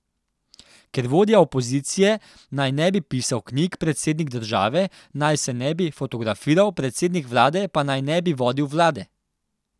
Ker vodja opozicije naj ne bi pisal knjig, predsednik države naj se ne bi fotografiral, predsednik vlade pa naj ne bi vodil vlade.